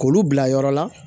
K'olu bila yɔrɔ la